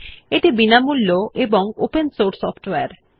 এটি বিনামূল্য ও ওপেন সোর্স সফ্টওয়্যার